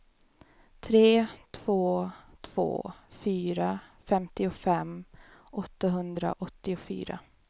tre två två fyra femtiofem åttahundraåttiofyra